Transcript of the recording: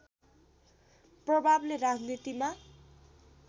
प्रभावले राजनीतिमा